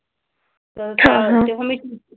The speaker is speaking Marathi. हां हां.